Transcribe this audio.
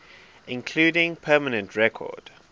including permanent record